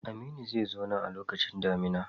Aminu zai zo nan a lokacin damina.